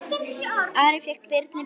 Ari fékk Birni bréfin.